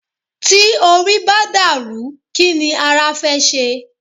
Tí orí bá dàrú, kí ni ara fẹ́ ṣe?